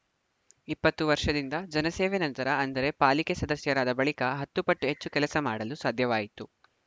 ಇಪ್ಪತ್ತು ವರ್ಷದಿಂದ ಜನಸೇವೆ ನಂತರ ಅಂದರೆ ಪಾಲಿಕೆ ಸದಸ್ಯರಾದ ಬಳಿಕ ಹತ್ತು ಪಟ್ಟು ಹೆಚ್ಚು ಕೆಲಸ ಮಾಡಲು ಸಾಧ್ಯವಾಯಿತು